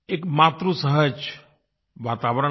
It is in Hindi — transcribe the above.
एक मातृसहज वातावरण था